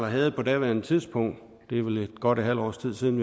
havde på daværende tidspunkt det er vel godt et halvt års tid siden